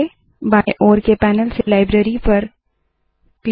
बाएं ओर के पैनल से लाइब्रेरी लाइब्ररी पर क्लिक करे